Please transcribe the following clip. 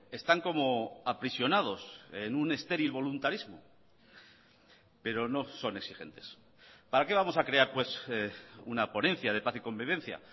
están como aprisionados en un estéril voluntarismo pero no son exigentes para qué vamos a crear pues una ponencia de paz y convivencia